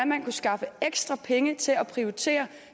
man kunne skaffe ekstra penge til at prioritere